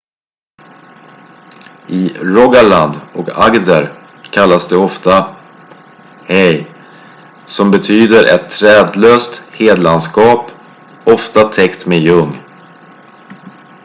"i rogaland och agder kallas de ofta "hei" som betyder ett trädlöst hedlandskap ofta täckt med ljung.